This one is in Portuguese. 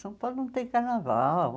São Paulo não tem carnaval.